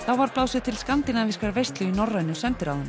var blásið til skandinavískrar veislu í norrænu